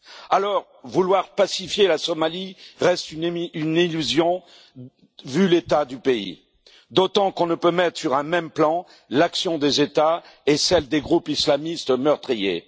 Alors, vouloir pacifier la Somalie reste une illusion, vu l'état du pays, d'autant qu'on ne peut mettre sur un même plan l'action des États et celle des groupes islamistes meurtriers.